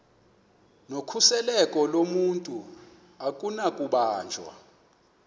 nokhuseleko lomntu akunakubanjwa